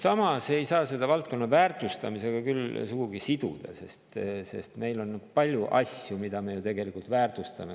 Samas ei saa seda valdkonna väärtustamisega küll sugugi siduda, sest meil on palju asju, mida me ju tegelikult väärtustame.